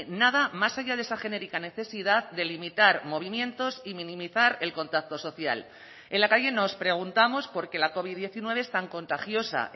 nada más allá de esa genérica necesidad de limitar movimientos y minimizar el contacto social en la calle nos preguntamos por qué la covid diecinueve es tan contagiosa